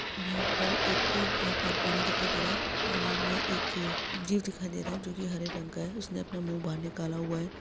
यहाँ पर एक यहाँ पर पानी दिखाई दे रहा है पानी में एक जीव दिखाई दे रहा है जोकि हरे रंग का है उसने अपना मुँह बाहर निकला हुआ है।